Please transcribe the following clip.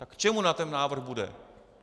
Tak k čemu nám ten návrh bude?